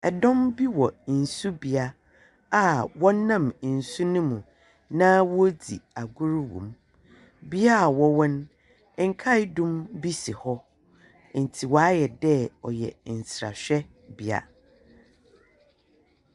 Ɛdɔm bi wɔ nso bia a wɔnam nsu no mu na wɔredzi agor wɔ mu bia wɔwɔ no nkae dom bi si hɔ no mo intsi waayɛdɛɛ ɔyɛ nsrahwɛ bea.